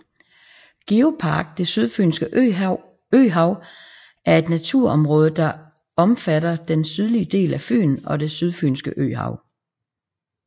Geopark Det Sydfynske Øhav er et naturområde der omfatter den sydlige del af Fyn og det sydfynske øhav